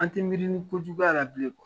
An tɛ miiri ni kojuguba la bilen